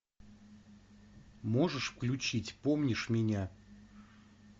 можешь включить помнишь меня